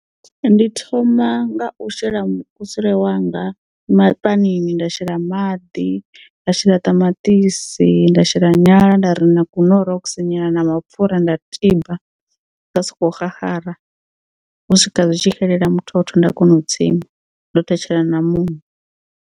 Ndi thoma nga u shela mukusule wanga ma panini nda shela maḓi nda shela ṱamaṱisi nda shela nyala nda ri na ku norox nyana na mapfura nda tiba zwa soko xaxara u swika zwitshi xelela muthotho nda kona u tsima ndo thetshela na muṋo.